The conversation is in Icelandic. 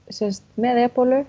með